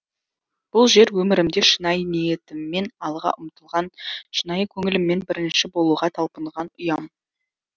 бұл жер өмірімде шынайы ниетіммен алға ұмтылған шынайы көңіліммен бірінші болуға талпынған ұям